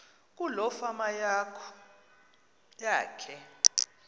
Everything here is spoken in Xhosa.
kuloo fama yakhe